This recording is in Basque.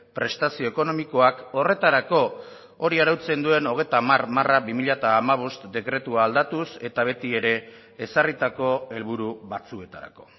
prestazio ekonomikoak horretarako hori arautzen duen hogeita hamar barra bi mila hamabost dekretua aldatuz eta beti ere ezarritako helburu batzuetarako